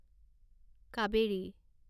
Kaveri